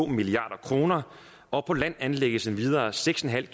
milliard kr og på land anlægges endvidere seks en halv